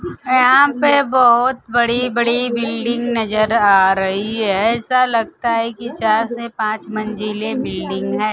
यहां पे बहोत बड़ी बड़ी बिल्डिंग नजर आ रही है ऐसा लगता है कि चार से पांच मंजिलें बिल्डिंग है।